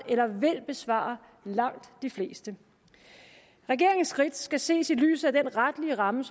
eller vil besvare langt de fleste regeringens skridt skal ses i lyset af den retlige ramme